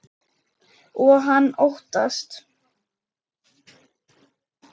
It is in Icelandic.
Og hann óttast.